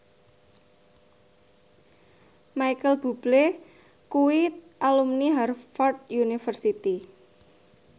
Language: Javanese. Micheal Bubble kuwi alumni Harvard university